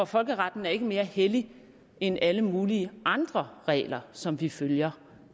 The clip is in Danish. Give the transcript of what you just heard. folkeretten er ikke mere hellig end alle mulige andre regler som vi følger